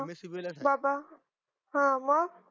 मुलाशी बाबा हं मग